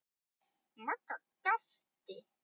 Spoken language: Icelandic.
Magga gapti.